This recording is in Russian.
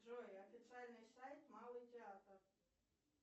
джой официальный сайт малый театр